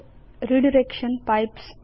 redirection pipes